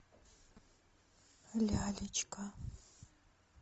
лялечка